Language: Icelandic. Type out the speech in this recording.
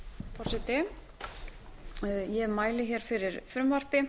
forseti ég mæli hér fyrir frumvarpi